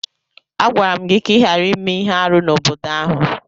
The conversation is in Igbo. Agwara m gị ka ị ghara ime ihe árú n'obodo ahu!